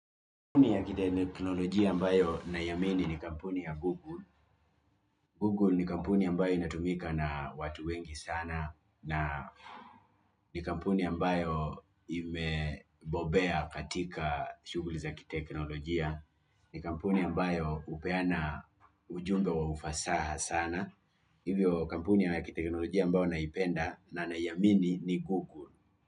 Kampuni ya kiteknolojia ambayo naiamini ni kampuni ya Google. Google ni kampuni ambayo inatumika na watu wengi sana. Na ni kampuni ambayo imebobea katika shughuli za kiteknolojia. Ni kampuni ambayo upeana ujumbe wa ufasaha sana. Hivyo kampuni ya kiteknolojia mbayo naipenda na naiamini ni Google.